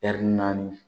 naani